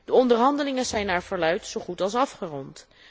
De onderhandelingen zijn naar verluidt zo goed als afgerond.